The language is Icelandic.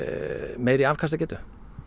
meiri afkastagetu